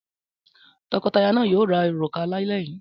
Tọkọtaya náà yóò ra òrùka lálẹ́ yìí.